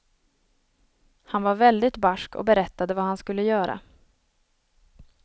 Han var väldigt barsk och berättade vad han skulle göra.